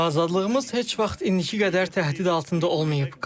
Azadlığımız heç vaxt indiki qədər təhdid altında olmayıb.